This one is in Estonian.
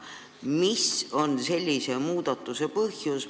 Mis on sellise muudatuse põhjus?